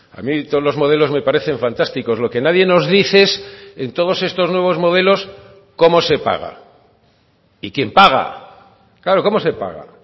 a mí todos los modelos me parecen fantásticos lo que nadie nos dice es en todos estos nuevos modelos cómo se paga y quién paga claro cómo se paga